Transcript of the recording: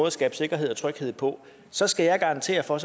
at skabe sikkerhed og tryghed på så skal jeg garantere for